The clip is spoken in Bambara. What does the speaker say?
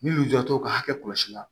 Min jɔ ka hakɛ kɔlɔsi la